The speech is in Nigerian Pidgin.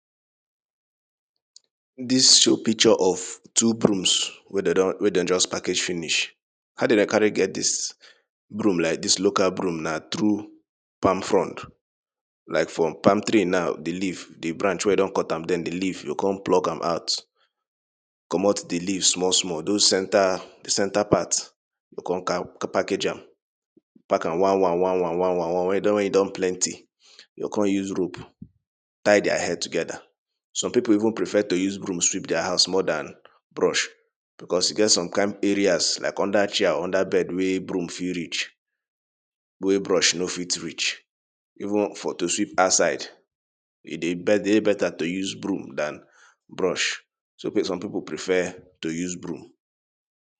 Dis two picture of two brooms wey dem don, wey dey just package finish. How dem dey carry get dis broom like dis local broom na through palm frond, like from palm tree now di leave, the branch wen you don cut am, den di leave you go kon pluck am out, comot di leave small small dose center, di center part you go kon package am, pack am one one, one one, one one, one wen e don wen e don plenty you go kon use rope tie dia head togeda. Some pipu even prefer to use broom sweep dia house more dan brush becos e get some kind areas like under chair, under bed wey broom fit reach wey brush no fit reach even for to sweep outside e dey better to use broom dan brush some pipu prefer to use broom.